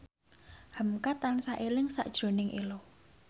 hamka tansah eling sakjroning Ello